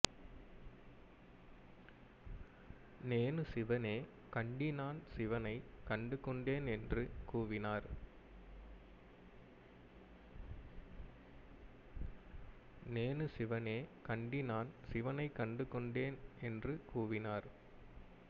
நேனு சிவனே கண்டி நான் சிவனை கண்டு கொண்டேன் என்று கூவினார்